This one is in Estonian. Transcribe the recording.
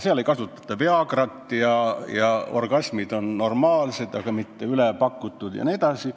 Seal ei kasutata Viagrat ja orgasmid on normaalsed, mitte üle pakutud, jne.